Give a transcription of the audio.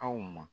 Aw ma